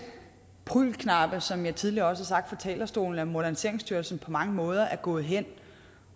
prügelknabe som jeg også tidligere har sagt fra talerstolen at moderniseringsstyrelsen på mange måder er gået hen